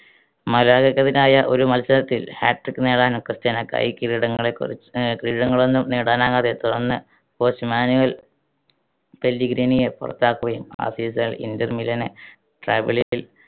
മലാഗക്കെതിരായ ഒരു മത്സരത്തിൽ hat trick നേടാൻ ക്രിസ്റ്റ്യാനോയ്‌ക്കായി. കിരീടങ്ങളെക്കു ആഹ് കിരീടങ്ങൊളൊന്നും നേടാനാകാതെ തുടർന്ന് coach മാനുവൽ പെല്ലിഗ്രിനിയെ പുറത്താക്കുകയും ആ season ൽ ഇൻറ്റർ മിലന്